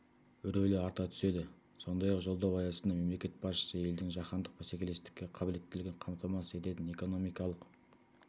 рөлі арта түседі сондай-ақ жолдау аясында мемлекет басшысы елдің жаһандық бәсекелестікке қабілеттілігін қамтамасыз ететін экономикалық